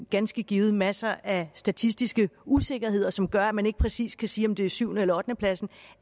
ganske givet masser af statistiske usikkerheder som gør at man ikke præcis kan sige om det er syvende eller ottendepladsen